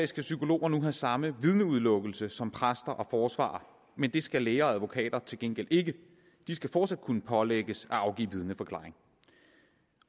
skal psykologer nu have samme vidneudelukkelse som præster og forsvarere men det skal læger og advokater til gengæld ikke de skal fortsat kunne pålægges at afgive vidneforklaring